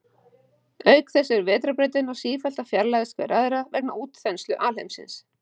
Auk þess eru vetrarbrautirnar sífellt að fjarlægjast hver aðra vegna útþenslu alheimsins.